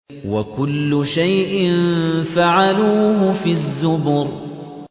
وَكُلُّ شَيْءٍ فَعَلُوهُ فِي الزُّبُرِ